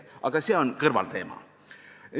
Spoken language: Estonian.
Aga see on kõrvalteema.